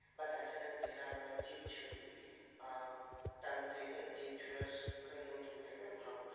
বা তাছাড়া যেটা আমরা জিভ ছুলি আহ tongue cleaner জিভ ছুলার ওটা নতুনটাকে ভাঙতাম